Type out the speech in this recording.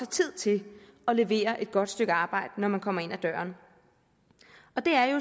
tid til at levere et godt stykke arbejde når man kommer ind ad døren